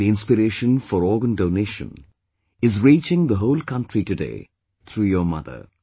The inspiration for organ donation is reaching the whole country today through your mother